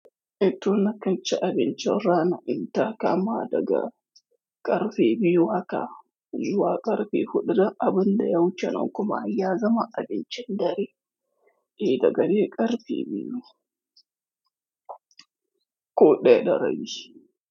E to nakan ci abincin rana, inta kama daga ƙarfe biyu haka, zuwa ƙarfe huɗu, duk abun da ya wuce nan kuma ya zama abincin dare. Eh da ga dai ƙarfe biyu ko ɗaya da rabi.